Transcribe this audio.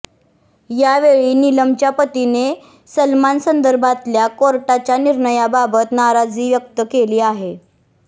यावेळी निलमच्या पतीने सलमानसंदर्भातल्या कोर्टाच्या निर्णयाबाबत नाराजी व्यक्त केली आहे